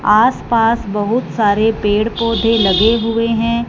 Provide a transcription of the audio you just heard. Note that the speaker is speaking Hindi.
आसपास बहुत सारे पेड़ पौधे लगे हुएं हैं।